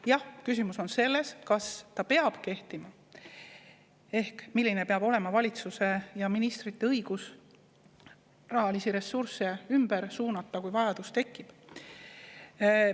Jah, küsimus on selles, kas ta peab kehtima, ehk milline peab olema valitsuse ja ministrite õigus rahalisi ressursse ümber suunata, kui vajadus tekib.